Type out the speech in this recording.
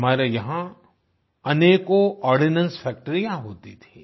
हमारे यहाँ अनेकों आर्डिनेंस फैक्ट्रियां होती थीं